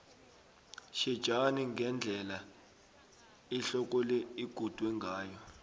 tjhejani ngendlela ihloko le igudwe ngayo